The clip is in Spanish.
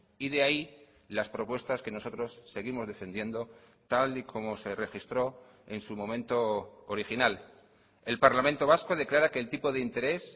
y de ahí las propuestas que nosotros seguimos defendiendo tal y como se registró en su momento original el parlamento vasco declara que el tipo de interés